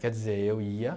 Quer dizer, eu ia